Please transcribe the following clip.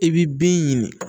I bi bin ɲini